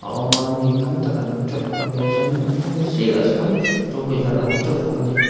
a awm a mi tam tak an awm teuh bawk a ni a chuan a hnung sirah sawn two wheeler a awm teuh bawk a ni.